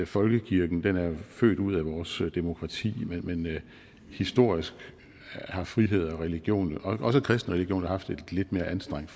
folkekirken er født ud af vores demokrati men historisk har frihed og religion også den kristne religion jo haft et lidt mere anstrengt